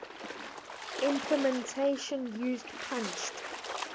implementation used punched